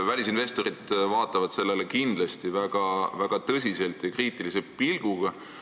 Välisinvestorid vaatavad sellele kindlasti väga kriitilise pilguga.